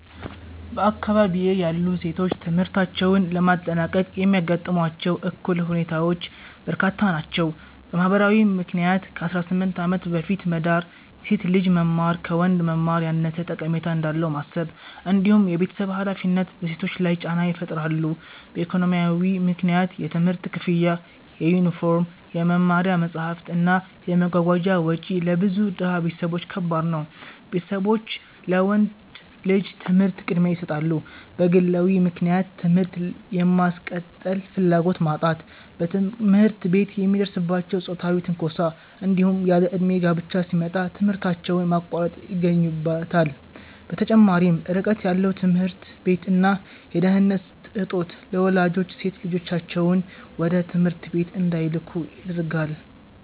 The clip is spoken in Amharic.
በአካባቢዬ ያሉ ሴቶች ትምህርታቸውን ለማጠናቀቅ የሚያጋጥሟቸው እክል ሁኔታዎች በርካታ ናቸው። በማህበራዊ ምክንያት ከ18 ዓመት በፊት መዳር፣ የሴት ልጅ መማር ከወንድ መማር ያነሰ ጠቀሜታ እንዳለው ማሰብ፣ እንዲሁም የቤተሰብ ሃላፊነት በሴቶች ላይ ጫና ይፈጥራሉ። በኢኮኖሚያዊ ምክንያት የትምህርት ክፍያ፣ የዩኒፎርም፣ የመማሪያ መጽሐፍት እና የመጓጓዣ ወጪ ለብዙ ድሃ ቤተሰቦች ከባድ ነው፤ ቤተሰቦች ለወንድ ልጅ ትምህርት ቅድሚያ ይሰጣሉ። በግለዊ ምክንያት ትምህርት የማስቀጠል ፍላጎት ማጣት፣ በትምህርት ቤት የሚደርስባቸው ጾታዊ ትንኮሳ፣ እንዲሁም ያለእድሜ ጋብቻ ሲመጣ ትምህርታቸውን ማቋረጥ ይገኙበታል። በተጨማሪም ርቀት ያለው ትምህርት ቤት እና የደህንነት እጦት ለወላጆች ሴት ልጆቻቸውን ወደ ትምህርት ቤት እንዳይልኩ ያደርጋል።